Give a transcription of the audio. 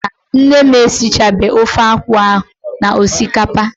Mba, nne m esichabeghị ofe akwụ ahụ na osikapa.